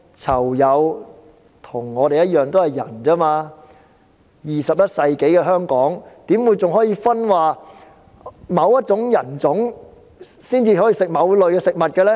囚友與我們一樣也是人，在21世紀的香港，怎會還會出現某一人種才可以吃某類食物的情況呢？